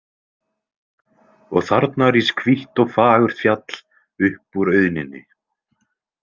Og þarna rís hvítt og fagurt fjall upp úr auðninni.